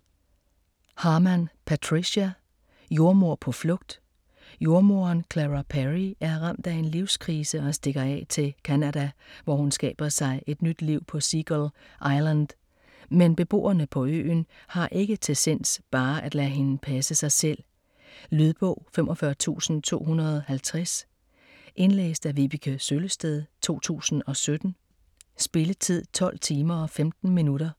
Harman, Patricia: Jordemoder på flugt Jordemoderen Clara Perry er ramt af en livskrise og stikker af til Canada, hvor hun skaber sig et nyt liv på Seagull Island. Men beboerne på øen har ikke til sinds bare at lade hende passe sig selv. Lydbog 45250 Indlæst af Vibeke Søllested, 2017. Spilletid: 12 timer, 15 minutter.